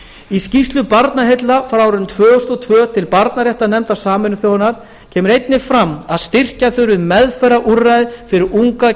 í skýrslu barnaheilla frá árinu tvö þúsund og tvö til barnaréttarnefndar sameinuðu þjóðanna kom einnig fram að styrkja þyrfti meðferðarúrræði fyrir unga